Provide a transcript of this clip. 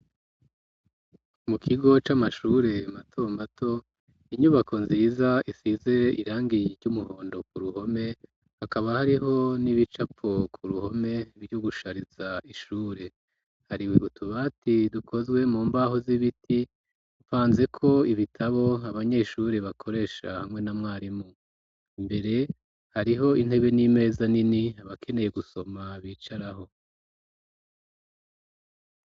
Mu kigo c'amashure mato mato, inyubako nziza isize irangi ry'umuhondo ku ruhome, hakaba hariho n'ibicapo ku ruhome, vyo gushariza ishure, hari utubati dukozwe mu mbaho z'ibiti, dupfanzeko ibitabo abanyeshure bakoresha hamwe na mwarimu, imbere hariho intebe n'imeza nini, abakeneye gusoma bicarako.